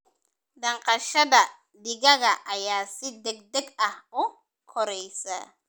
Dhaqashada digaaga ayaa si degdeg ah u koraysa.